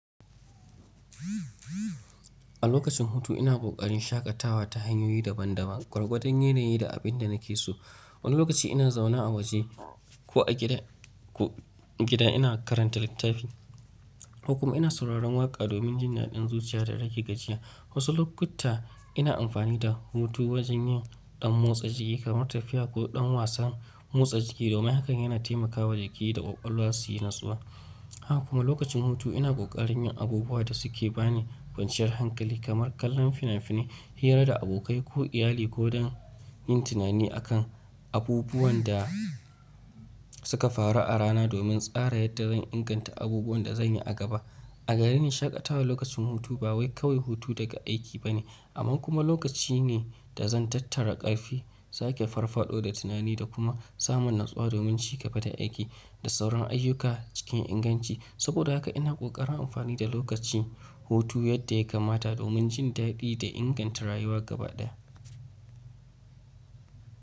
A lokacin hutu ina kokarin shaƙatawa ta hanyoyi daban-daban, gwargwadon yanayi da abin da nake so. Wani lokaci ina zaune a waje ko a gida ina karanta littafi. Ko kuma ina sauraron waƙa domin jin daɗin zuciya da rage gajiya. Wasu lokuta ina amfani da hutu wajen yin ɗan motsa jiki kamar tafiya ko ɗan wasan motsa jiki domin hakan yana taimakawa jiki da ƙwaƙwalwa su yi natsuwa. Haka kuma lokacin hutu ina ƙoƙarin yin abubuwa da suke ba ni kwanciyar hankali, kamar kallon fina-finai, hira da abokai ko iyali ko don yin tunani akan abubuwan da suka faru a rana domin tsara yadda zan inganta abubuwan da zan yi a gaba. A gareni shaƙatawa lokacin hutu ba wai kawai hutu daga aiki ba ne, amma kuma lokaci ne da zan tattara ƙarfi, sake farfaɗo da tunani da kuma samun natsuwa domin ci gaba da aiki da sauran ayyuka cikin inganci. Saboda haka ina ƙoƙarin amfani da lokacin hutu yadda ya kamata domin jin daɗi da inganta rayuwa gaba ɗaya.